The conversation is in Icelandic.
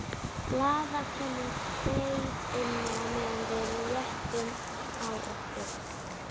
Blaðakonan beið inni á meðan við léttum á okkur.